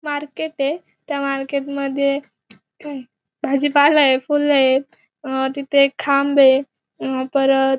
market ये त्या market मध्ये भाजीपाला ये फुले ये अ तिथे एक खांब ये अ परत --